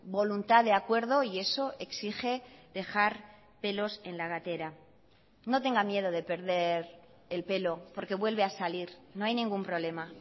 voluntad de acuerdo y eso exige dejar pelos en la gatera no tenga miedo de perder el pelo porque vuelve a salir no hay ningún problema